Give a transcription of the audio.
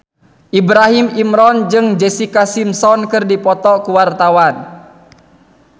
Ibrahim Imran jeung Jessica Simpson keur dipoto ku wartawan